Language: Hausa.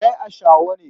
Kai ashawu ne.